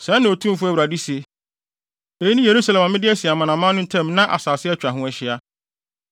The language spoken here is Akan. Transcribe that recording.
“Sɛɛ na Otumfo Awurade se: Eyi ne Yerusalem a mede asi amanaman no ntam na nsase atwa ho ahyia.